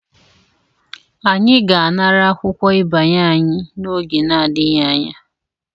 Anyị ga-anara akwụkwọ ịbanye anyị n'oge n'adịghị anya.